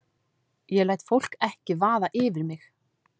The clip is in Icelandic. Ég læt fólk ekki vaða yfir mig.